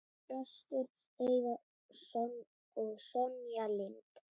Þröstur Heiðar og Sonja Lind.